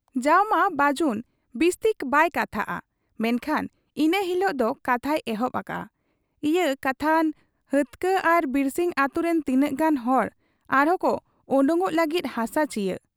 ᱡᱟᱣᱢᱟ ᱵᱟᱹᱡᱩᱱ ᱵᱤᱥᱛᱤ ᱵᱟᱭ ᱠᱟᱛᱷᱟᱜ ᱟ, ᱢᱮᱱᱠᱷᱟᱱ ᱤᱱᱟᱹ ᱦᱤᱞᱚᱜ ᱫᱚ ᱠᱟᱛᱷᱟᱭ ᱮᱦᱚᱵ ᱟᱠᱟᱜ ᱟ, 'ᱤᱭᱟᱹ ᱠᱟᱛᱷᱟᱱ ᱦᱟᱹᱛᱠᱟᱹ ᱟᱨ ᱵᱤᱨᱥᱤᱝ ᱟᱹᱛᱩᱨᱤᱱ ᱛᱤᱱᱟᱹᱜ ᱜᱟᱱ ᱦᱚᱲ ᱟᱨᱦᱚᱸᱠᱚ ᱟᱰᱚᱠᱚᱜ ᱞᱟᱹᱜᱤᱫ ᱦᱟᱥᱟ ᱪᱤᱭᱟᱹ ᱾